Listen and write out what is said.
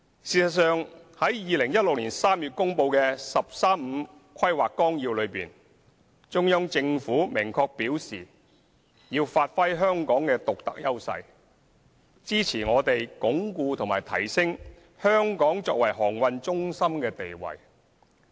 事實上，在2016年3月公布的《十三五規劃綱要》內，中央政府明確表示要發揮香港的獨特優勢，支持我們鞏固和提升香港作為航運中心的地位。